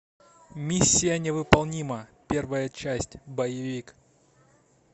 миссия невыполнима первая часть боевик